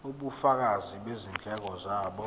ubufakazi bezindleko zabo